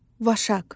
Vaşaq.